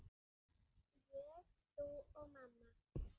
Ég, þú og mamma.